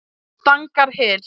Stangarhyl